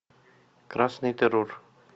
красный террор